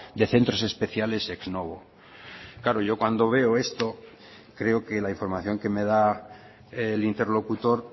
de centros especiales ex novo claro yo cuando veo esto creo que la información que me da el interlocutor